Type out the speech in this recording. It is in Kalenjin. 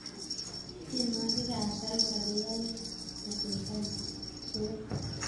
tienwokik ap salsa koyaya achesan suet